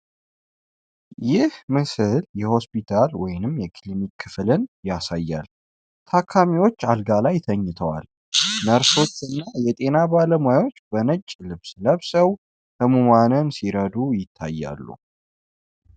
ይህ ምስል የሆስፒታል ወይም ክሊኒክ ክፍል ያሳያል:: ታካሚዎች አልጋ ላይ ተኝተዋል:: ነርሶችና የጤና ባለሙያዎች በነጭ ልብስ ለብሰው ሕሙማንን ሲረዱ ይታያሉ::